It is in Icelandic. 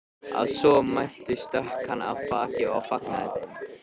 Að svo mæltu stökk hann af baki og fagnaði þeim.